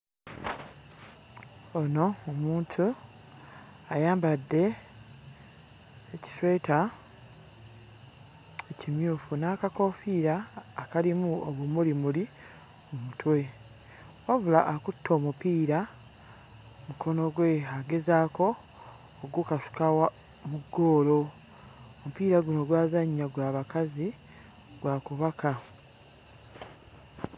Ono omuntu ayambadde ekisweta ekimyufu n'akakoofiira akalimu obumulimuli mu mutwe wabula akutte omupiira mu mukono gwe agezaako oggukasuka wa... mu ggoolo. Omupiira guno gw'azannya gwa bakazi, gwa kubaka.